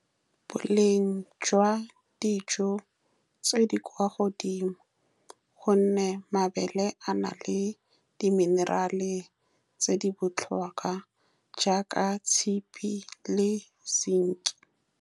Boleng jwa dijo tse di kwa godimo, ka gonne mabele a na le di-mineral-e tse di botlhokwa jaaka tshipi le zinc-i.